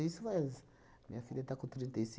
Isso faz, minha filha está com trinta e